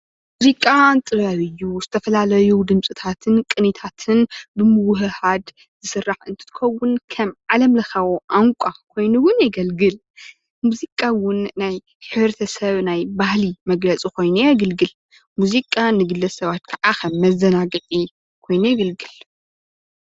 ሙዚቃ ጥበብ እዩ። ዝተፈላለዩ ድምፅታትን ቅኒታትን ብምውህሃድ ኾይኑ ዝስራሕ እንትከውን ከም ዓለም ለካዊ ቛንቛ ኮይኑ እውን የገልግል ሙዚቃ እውን ናይ ሕብረተሰብ ባህሊ ኮይኑ የገልግል ሙዚቃ ንግለሰባት ከዓ ከም መዘናግዒ ኮይኑ የገልግል